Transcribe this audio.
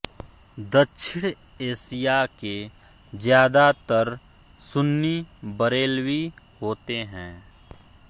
दक्षिण एशिया के ज़्यादातर सुन्नी बरेलवी होते हैं